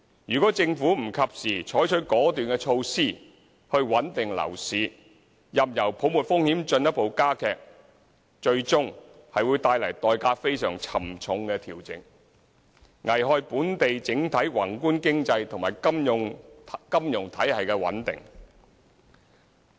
若政府不及時採取果斷措施穩定樓市，任由泡沫風險進一步加劇，最終會帶來代價非常沉重的調整，危害本港整體宏觀經濟及金融體系穩定。